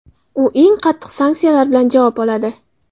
u eng qattiq sanksiyalar bilan javob oladi.